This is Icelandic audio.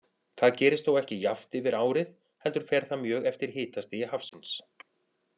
Það gerist þó ekki jafnt yfir árið heldur fer það mjög eftir hitastigi hafsins.